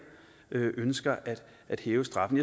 ønsker at hæve straffen